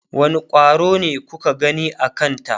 wani ƙwaro ne kuka gani a Kanta?